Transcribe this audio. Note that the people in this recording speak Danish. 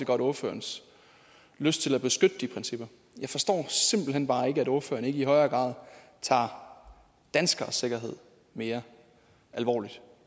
godt ordførerens lyst til at beskytte de principper jeg forstår simpelt hen bare ikke at ordføreren ikke i højere grad tager danskeres sikkerhed mere alvorligt